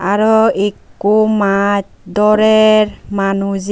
aro ekko mach dorer manujey.